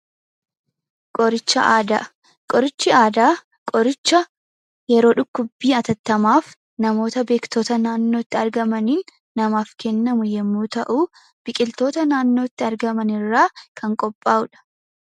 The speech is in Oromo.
Qoricha Aadaa Qorichi aadaa qoricha yeroo dhukkubbii hatattamaaf mamoota beektota naannootti argamaniin namaaf kennamu yoo ta’u, biqiltoota nannootti argaman irraa kan qophaa'udha.